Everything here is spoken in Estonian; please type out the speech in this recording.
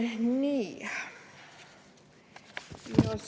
Nii.